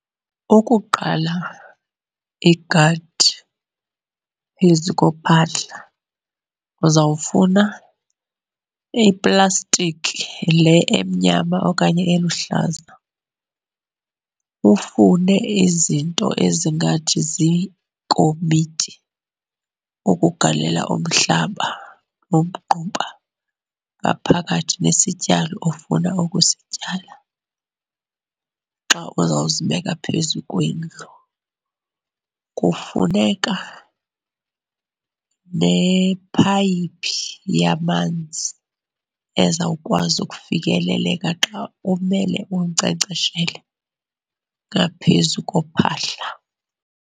Ukuqala igadi phezu kophahla uzawufuna iplastiki le emnyama okanye eluhlaza, ufune izinto ezingathi ziikomityi ukugalela umhlaba nomgquba ngaphakathi nesityalo ofuna ukusityala xa uzawuzibeka phezu kwendlu. Kufuneka nephayiphi yamanzi ezawukwazi ukufikeleleka xa umele unkcenkceshele ngaphezu kophahla.